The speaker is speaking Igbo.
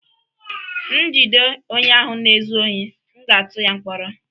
M jide onye ahụ na-ezu ohi, m ga-atụ ya mkpọrọ